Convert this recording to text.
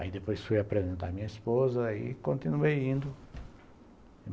Aí depois fui apresentar a minha esposa e continuei indo.